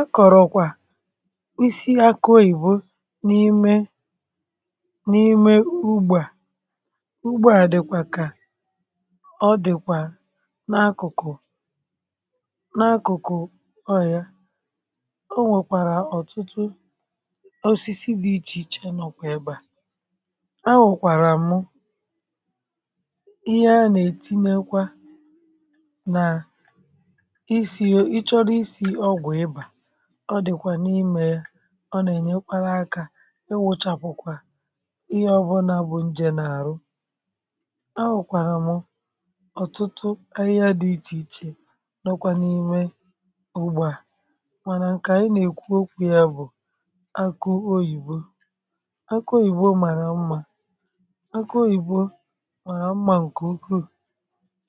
Akọ̀rọ̀kwà isi akụ oyìbo n’ime um n’ime ugbȧ ugbȧ àdịkwà kà ọ dị̀kwà n’akụ̀kụ̀, n’akụ̀kụ̀ ọ yà. O nwèkwàrà um ọ̀tụtụ osisi dị iche iche, nọkwà ebeà. O nwèkwàrà mụ ihe a nà-ètinye kwa, nà ọ dị̀kwà n’imè ya. Ọ nà-ènye kpara akà, ị wụ̀chàpụ̀kwà ihe ọbụlà bụ̀ njè n’àrụ. A nwèkwàrà m ọ̀tụtụ ahịhịa dị iche iche, n’ọkwà n’ime ugbȯ à. Mànà nke anyị nà-èkwu okwu yà bụ̀ akụ oyìbo. Akụ oyìbo màrà mma, akụ oyìbo màrà mma nke ukwuu.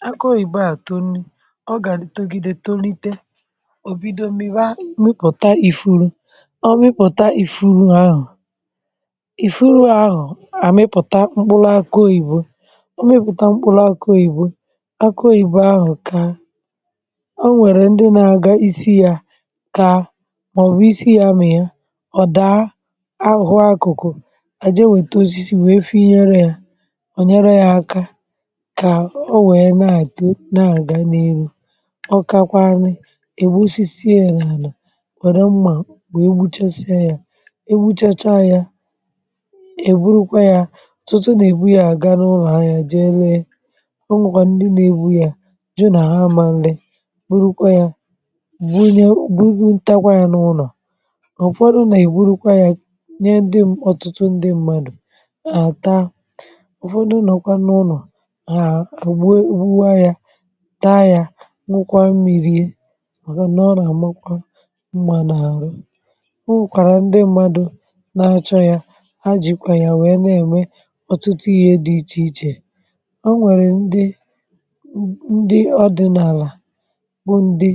Akụ oyìbo àtọ nni, ọ gà-togide, tolite. Ọ mịpụ̀ta ifuru̇, ọ mịpụ̀ta ifuru ahụ̀; ifuru ahụ̀ à mịpụ̀ta mkpụlụ akọ ìbò. Ọ mịpụ̀ta mkpụlụ akọ ìbò! Akụ oyìbo ahụ̀ kà o nwèrè ndị nà-agà isi yà, kà màọbụ um isi yà mị̇ ya, ọ̀ dàa ahụhụ. Akụ̀kụ̀ kà jee wète osisi, wèe fị̇ inyèrè yà, ọ̀ nyere yà aka, kà o nwèe na-àtịo, na-àga n’eru kwàdo mmȧ, wèe gbuchasịa yà. um E gbuchachaa yà, e burukwa yà, tụ̀tụ̀ nà ị̀bụ ya gaa n’ụlọ̀ ha. Yà jee lee, ọ nwọ̀kwà ndị nà-ebu yà, jụ nà ha amà nlị. Burukwa yà, bùrù nye, bùrù n, takwa yà n’ụlọ̀. Ọ̀ kwadoo nà e burukwa yà nye ndị ọ̀tụtụ, ndị mmadụ à taa. Ọ̀ kwadoo, nọ̀kwa n’ụlọ̀ ha, àgbuwa yà, taa yà, nwukwa mmi̇, rie! O nwèkwàrà ndị mmadụ nà-azụ ya, ha jìkwà ya wèe na-ème ọ̀tụtụ ihe dị iche iche. Ha nwèrè ndị, um ndị ọdị̀nàlà... bụ ndị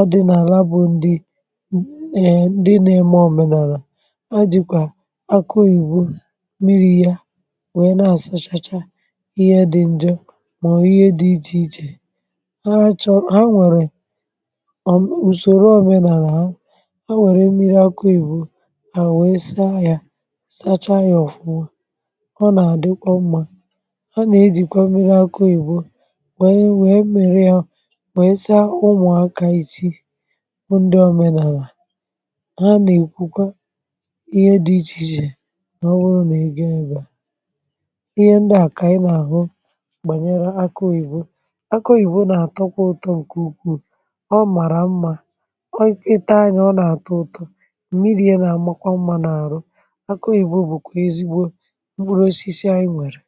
ọdị̀nàlà, bụ ndị mm dị nà-ème òmenàlà. Ha jìkwà akụ ị̀bụ miri, ya wèe na-àsachacha ihe dị ǹje màọbụ ihe dị iche iche. um A wère mmiri akọ ìbò, a wee saa ya, sàchaa ya ọ̀fụwo. Ọ nà-àdịkwa mma! A nà-ejìkwa mmiri akọ ìbò, nwèe, nwèe mmirià, nwèe saa ụmụ aka, ịchi o, ndị òmenàlà ha nà-èkwukwa ihe dị iche iche nà ọ wụrụ nà e gaa, ihe ndị a kà a nà-àhụ bànyere akọ ìbò. Akọ ìbò nà-àtọkwa ụtọ, nke ukwuù, um mmiri ihe nà-àmakwa mma n’àrụ akụ yà bụ̀kwa ezigbo mkpụrụ osisi anyị nwèrè!